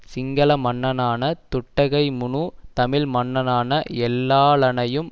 சிங்கள மன்னனான துட்டகைமுனு தமிழ் மன்னனான எல்லாளனையும்